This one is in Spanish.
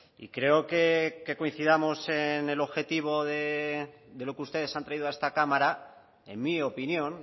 y creo que coincidamos en el objetivo de lo que ustedes han traído a esta cámara en mi opinión